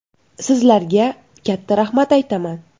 Sizlarga katta rahmat aytaman.